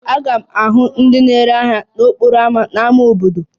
A ga-ahụ ndị na-ere ahịa n'okporo ámá n'ámá obodo